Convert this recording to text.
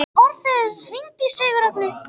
Orfeus, hringdu í Sigurrögnu.